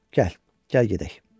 Gəl, gəl gedək.